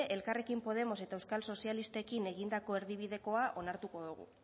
elkarrekin podemos eta euskal sozialistekin egindako erdibidekoa onartuko dugu